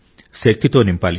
శక్తితో నింపాలి